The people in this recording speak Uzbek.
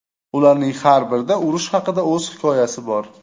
Ularning har birida urush haqida o‘z hikoyasi bor.